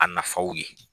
A nafaw ye